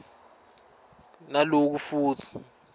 as well as